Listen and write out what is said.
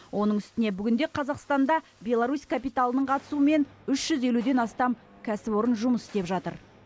оның үстіне бүгінде қазақстанда беларусь капиталының қатысуымен үш жүз елуден астам кәсіпорын жұмыс істеп жатыр